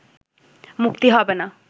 মুক্তি হবে না